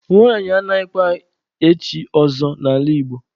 Nwanyị anaghịkwa echi ọzọ n'ala Igbo.